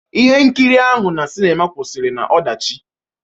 Ihe nkiri ahụ na sinima kwụsịrị n'ọdachi.